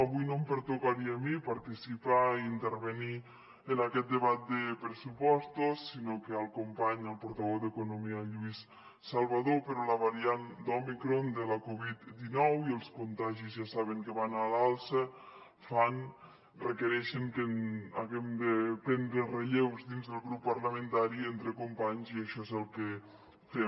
avui no em pertocaria a mi participar intervenir en aquest debat de pressupostos sinó al company al portaveu d’economia lluís salvadó però la variant d’òmicron de la covid dinou i els contagis ja saben que van a l’alça fan requereixen que haguem de prendre relleus dins del grup parlamentari entre companys i això és el que fem